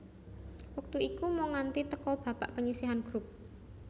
Wektu iku mung nganti teka babak panyisihan grup